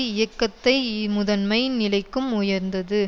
இயக்கத்தை முதன்மை நிலைக்கும் உயர்ந்தது